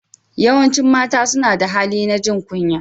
Yawancin mata suna da hali na jin kunya.